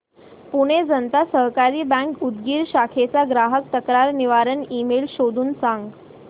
Pune Janata Sahakari bank Udgir शाखेचा ग्राहक तक्रार निवारण ईमेल शोधून सांग